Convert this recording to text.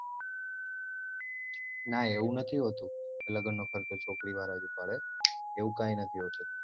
ના એવું નથી હોતું લગ્નનો ખર્ચો છોકરી વાળા જ ઉપાડે એવું કઈ નથી હોતું